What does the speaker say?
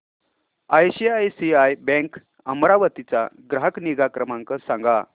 ICICI bank Amravati चा ग्राहक निगा क्रमांक सांगा